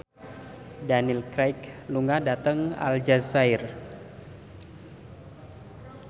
Daniel Craig lunga dhateng Aljazair